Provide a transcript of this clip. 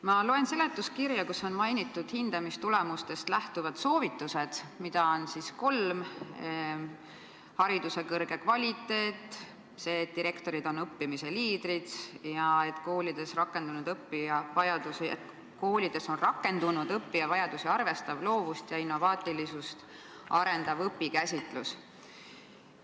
Ma loen seletuskirja, kus on mainitud hindamistulemustest lähtuvaid soovitusi, mida on kolm: hariduse kõrge kvaliteet, see, et direktorid on õppimise liidrid, ja et koolides on rakendunud õppija vajadusi arvestav, loovust ja innovaatilisust arendav õpikäsitus.